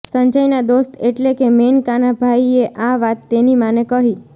સંજયના દોસ્ત એટલે કે મેનકાના ભાઈએ આ વાત તેની માંને કહી